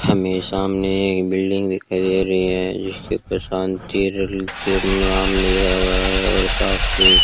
हमे सामने एक बिल्डिंग दिखाई दे रही है जिसके ऊपर शांति नाम लिखा हुआ है और साफ भी --